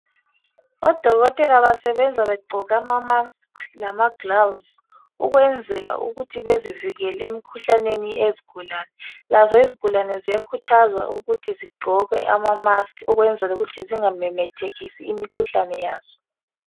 Odokotela basebenza begqoke ama"mask" lamagilovisi ukwenzela ukuthi bezivikele emikhuhlaneni eyezigulane. Lazo izigulane ziyakhuthazwa ukuthi zigqoke ama "mask" ukwenzela ukuthi zingamemethekisi imikhuhlane yazo.